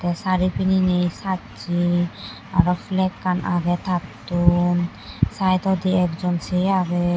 te sari pinine sacche aro flakkan age tattun sideondi ek jon se age.